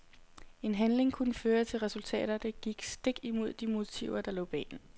En handling kunne føre til resultater, der gik stik imod de motiver der lå bag den.